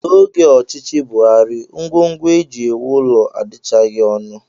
N'oge ọchịchị Buhari, ngwongwo e ji ewu ụlọ adịchaghị ọnụ